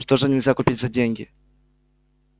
что же нельзя купить за деньги